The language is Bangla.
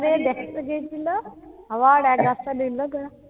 আষাঢ়ে দেখতে গেছিল, আবার এক আষাঢ়ে